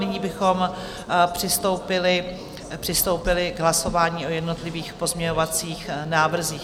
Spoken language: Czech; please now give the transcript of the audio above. Nyní bychom přistoupili k hlasování o jednotlivých pozměňovacích návrzích.